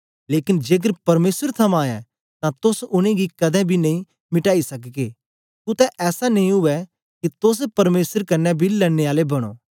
लेकन जेकर परमेसर थमां ऐ तां तोस उनेंगी कदें बी नेई मिटाई सकगे कुत्ते ऐसा नेई उवै के तोस परमेसर कन्ने बी लड़ने आले बनो